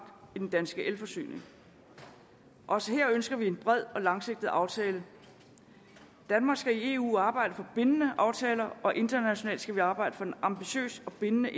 i den danske elforsyning også her ønsker vi en bred og langsigtet aftale danmark skal i eu arbejde for bindende aftaler og internationalt skal vi arbejde for en ambitiøs og bindende